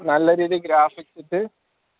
നല്ല രീതിയിൽ graphics ഇട്ട്